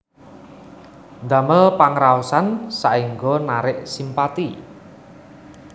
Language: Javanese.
Ndamel pangraosan saéngga narik simpati